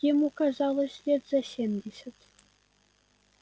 ему казалось лет за семьдесят